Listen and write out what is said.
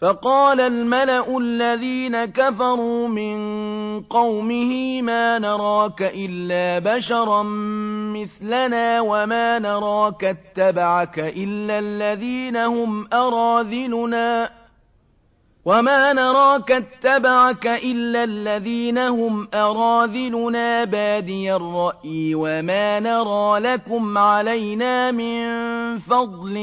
فَقَالَ الْمَلَأُ الَّذِينَ كَفَرُوا مِن قَوْمِهِ مَا نَرَاكَ إِلَّا بَشَرًا مِّثْلَنَا وَمَا نَرَاكَ اتَّبَعَكَ إِلَّا الَّذِينَ هُمْ أَرَاذِلُنَا بَادِيَ الرَّأْيِ وَمَا نَرَىٰ لَكُمْ عَلَيْنَا مِن فَضْلٍ